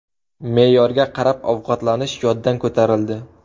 Me’yorga qarab ovqatlanish yoddan ko‘tarildi.